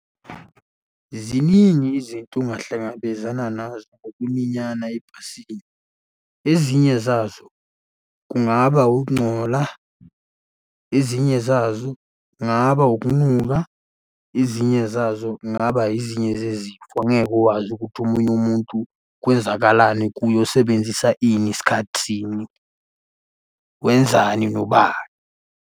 Ziningi izinto ongahlangabezana nazo ngokuminyana ebhasini. Ezinye zazo kungaba ukungcola, ezinye zazo kungaba ukunuka, ezinye zazo kungaba ezinye zezifo angeke uwazi ukuthi omunye umuntu kwenzakalani kuye usebenzisa ini, ngasikhathi sini. Wenzani nobani?